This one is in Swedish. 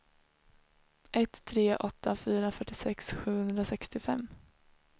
ett tre åtta fyra fyrtiosex sjuhundrasextiofem